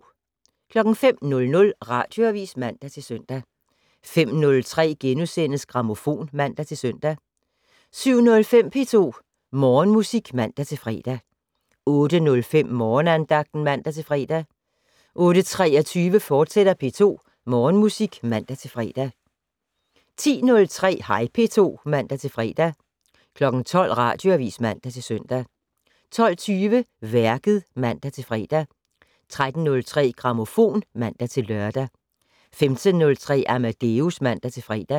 05:00: Radioavis (man-søn) 05:03: Grammofon *(man-søn) 07:05: P2 Morgenmusik (man-fre) 08:05: Morgenandagten (man-fre) 08:23: P2 Morgenmusik, fortsat (man-fre) 10:03: Hej P2 (man-fre) 12:00: Radioavis (man-søn) 12:20: Værket (man-fre) 13:03: Grammofon (man-lør) 15:03: Amadeus (man-fre)